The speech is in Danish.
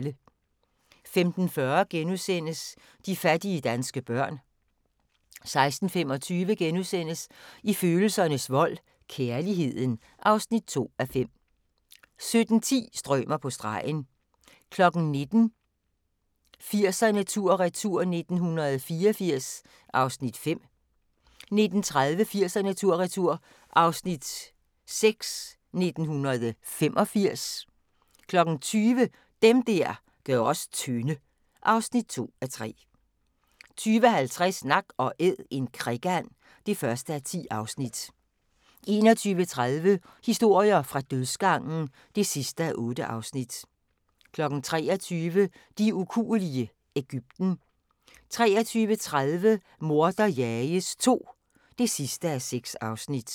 15:40: De fattige danske børn * 16:25: I følelsernes vold – Kærligheden (2:5)* 17:10: Strømer på stregen 19:00: 80'erne tur/retur: 1984 (Afs. 5) 19:30: 80'erne tur/retur: 1985 (Afs. 6) 20:00: Dem der gør os tynde (2:3) 20:50: Nak & æd - en krikand (1:10) 21:30: Historier fra dødsgangen (8:8) 23:00: De ukuelige – Egypten 23:30: Morder jages II (6:6)